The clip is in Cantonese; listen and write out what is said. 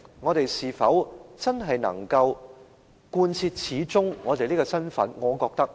我們是否真的能夠把這個身份貫徹下去呢？